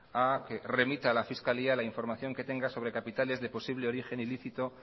a que remita a la fiscalía la información que tenga sobre capitales de posible origen ilícito